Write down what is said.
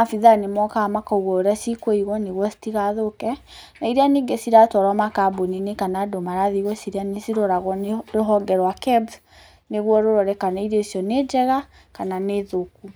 abithaa nĩmokaga makaũga ũrĩa cikũigwo itigathũke na iria ningĩ ciratwarwo makambũni-inĩ kana andũ marathie gũcirĩa nĩ ciroragwo nĩ rũhonge rwa KEBS nĩgũo rũrore kana irio icio kana nĩ njega kana nĩ thũku.